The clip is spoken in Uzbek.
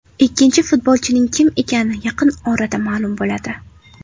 Ikkinchi futbolchining kim ekani yaqin orada ma’lum bo‘ladi.